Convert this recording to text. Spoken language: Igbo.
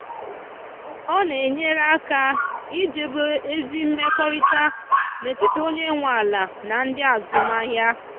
ọ na enyere aka idobe ezi mmekọrịta n’etiti onye nwe ala na ndị azụmahịa.